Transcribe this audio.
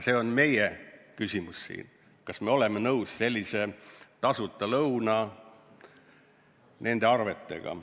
See ongi meie küsimus siin, et kas me oleme nõus selliste tasuta lõunate arvetega.